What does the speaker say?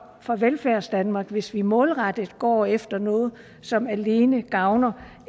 for velfærdsdanmark hvis vi målrettet går efter noget som alene gavner